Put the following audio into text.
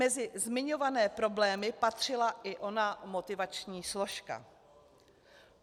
Mezi zmiňované problémy patřila i ona motivační složka.